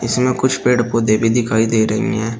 इसमें कुछ पेड़ पौधे भी दिखाई दे रही हैं।